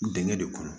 Dingɛ de kɔnɔ